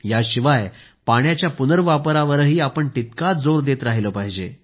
याशिवाय पाण्याच्या पुनर्वापरावरही आपण तितकाच जोर देत राहिले पाहिजे